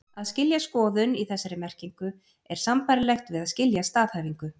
Að skilja skoðun, í þessari merkingu, er sambærilegt við að skilja staðhæfingu.